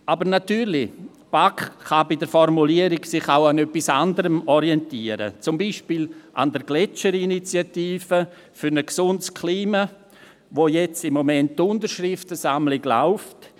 Aber natürlich kann die BaK sich bei der Formulierung auch an etwas anderem orientieren, zum Beispiel an der Gletscherinitiative für ein gesundes Klima, für die im Moment die Unterschriftensammlung läuft.